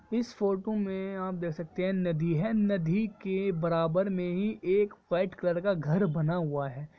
इस फोटो में आप देख सकते हैं नदी है नदी के बराबर में ही एक वाइट कलर का घर बना हुआ है।